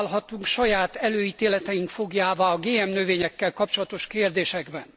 Nem válhatunk saját előítéleteink fogjává a GM növényekkel kapcsolatos kérdésekben.